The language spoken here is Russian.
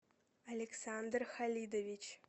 александр халидович